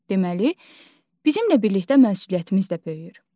Deməli, bizimlə birlikdə məsuliyyətimiz də böyüyür.